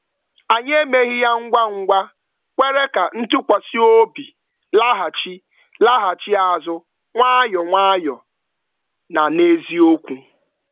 Anyị emeghị ya ngwa ngwa, kwere ka ntụkwasịobi laghachi laghachi azụ nwayọ nwayọ na n'eziokwu.